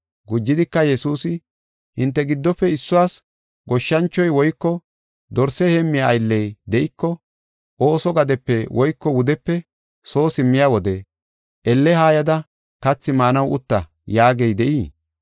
Gujidika Yesuusi, “Hinte giddofe issuwas goshshanchoy woyko dorse heemmiya aylley de7iko ooso gadepe woyko wudepe soo simmiya wode, ‘Elle haayada kathi maanaw utta’ yaagey de7ii?